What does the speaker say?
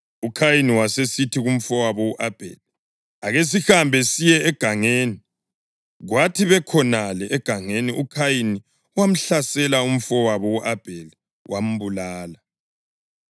UKhayini wasesithi kumfowabo u-Abheli, “Ake sihambe siye egangeni.” Kwathi bekhonale egangeni uKhayini wamhlasela umfowabo u-Abheli wambulala.